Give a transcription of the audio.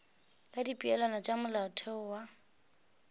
ka dipeelano tša molaotheo wa